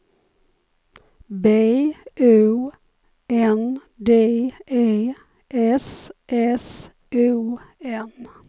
B O N D E S S O N